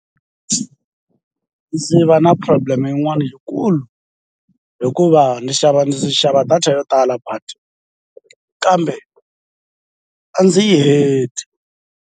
Vdzi va na problem yin'wani yikulu hikuva ni xava ndzi xava data yo tala but kambe a ndzi yi heti.